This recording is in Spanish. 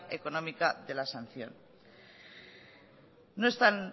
económica de la sanción no están